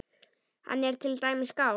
Hann er til dæmis skáld.